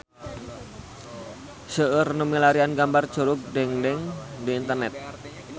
Seueur nu milarian gambar Curug Dengdeng di internet